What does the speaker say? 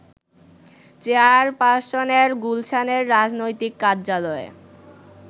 চেয়ারপারসনের গুলশানের রাজনৈতিক কার্যালয়ে